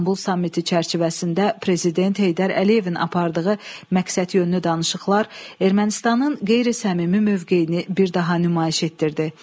İstanbul sammiti çərçivəsində Prezident Heydər Əliyevin apardığı məqsədyönlü danışıqlar Ermənistanın qeyri-səmimi mövqeyini bir daha nümayiş etdirdi.